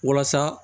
Walasa